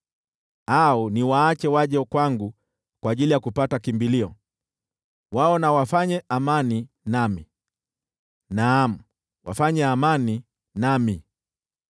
Au niwaache waje kwangu kwa ajili ya kupata kimbilio, wao na wafanye amani nami, naam, wafanye amani nami.”